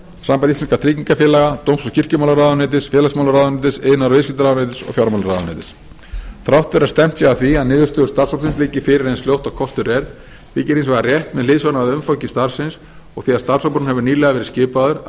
sambands íslenskra tryggingafélaga dóms og kirkjumálaráðuneytis félagsmálaráðuneytis iðnaðar og viðskiptaráðuneytis og fjármálaráðuneytis þrátt fyrir að stefnt sé að því að niðurstöður starfshópsins liggi fyrir eins fljótt og kostur er þykir hins vegar rétt með hliðsjón af umfangi starfsins og því að starfshópurinn hefur nýlega verið skipaður að